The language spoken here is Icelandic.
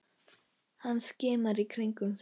Hann skimar í kringum sig.